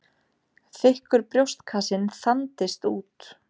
Þykkur brjóstkassinn þandist út.